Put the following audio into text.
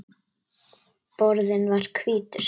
Borðinn var hvítur.